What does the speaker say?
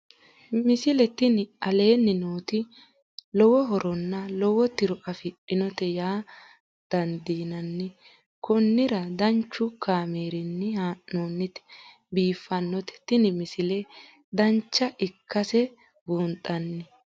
misile tini aleenni nooti lowo horonna lowo tiro afidhinote yaa dandiinanni konnira danchu kaameerinni haa'noonnite biiffannote tini misile dancha ikkase buunxanni